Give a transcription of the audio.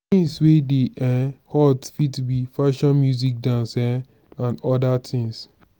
things wey dey um hot fit be fashion music dance um and oda things